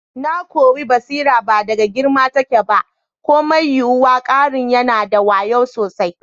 Na kuwi basira ba a girma take ba ko mai yiwuwa, karen yana da wayu sosai.